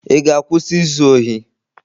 Ị ga-akwụsị izu ohi?